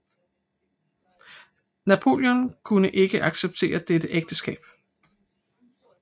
Napoleon kunne ikke acceptere dette ægteskab